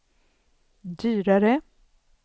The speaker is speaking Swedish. dyrare